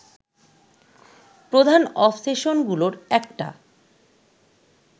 প্রধান অবসেশনগুলোর একটা